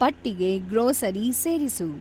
ಪಟ್ಟಿಗೆ ಗ್ರೋಸರಿ ಸೇರಿಸು